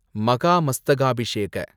Mahamastakabhisheka